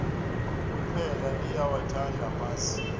iphela liyawathanda amasi